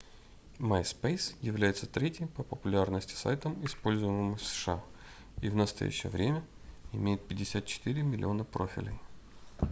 myspace является третьим по популярности сайтом используемым в сша и в настоящее время имеет 54 миллиона профилей